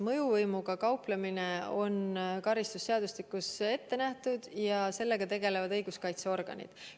Mõjuvõimuga kauplemine on karistusseadustikus keelatud ja sellega tegelevad õiguskaitseorganid.